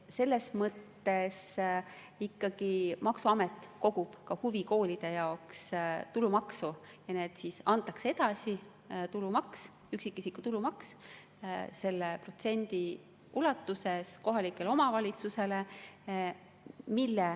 Selles mõttes ikkagi maksuamet kogub ka huvikoolide jaoks tulumaksu ja antakse edasi üksikisiku tulumaks selle protsendi ulatuses kohalikele omavalitsustele.